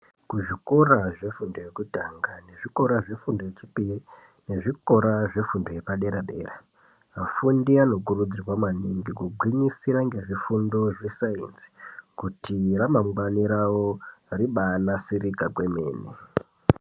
Kuzvikora zvefundo yekutanga nezvikora zvefundo yechipiri nezvikora zvefundo yepadera dera vafundi vanokuridzirwa maningi kugwinyisa ngezvifundo zvesainzi kuti ramangwani ravo ribanasirika kwemene.